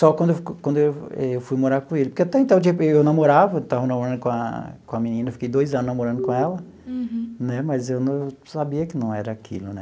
Só quando eu fui quando eu eu morar com ele, porque até então eu namorava, eu estava namorando com a com a menina, eu fiquei dois anos namorando com ela, né mas eu sabia que não era aquilo, né?